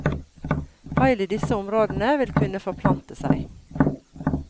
Feil i disse områdene vil kunne forplante seg.